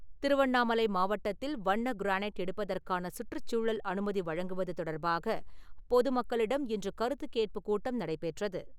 திருவண்ணாமலை மாவட்டத்தில் வண்ண கிரானைட் எடுப்பதற்கான சுற்றுச் சூழல் அனுமதி வழங்குவது தொடர்பாக பொது மக்களிடம் இன்று கருத்துக் கேட்புக் கூட்டம் நடைபெற்றது.